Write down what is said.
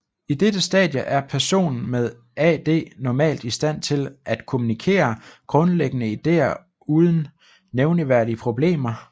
I dette stadie er personen med AD normalt i stand til at kommunikere grundlæggende ideer uden nævneværdige problemer